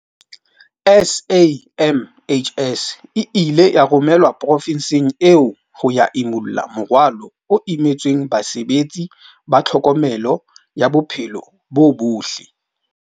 SAMHS e ile ya romelwa profenseng eo ho ya imulla morwalo o imetseng basebetsi ba tlhokomelo ya bophelo bo botle.